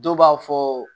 Dɔw b'a fɔ